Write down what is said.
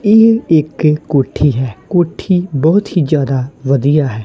ਇਹ ਇੱਕ ਕੋਠੀ ਹੈ ਕੋਠੀ ਬਹੁਤ ਹੀ ਜਿਆਦਾ ਵਧੀਆ ਹੈ।